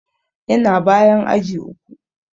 Yana bayan aji uku.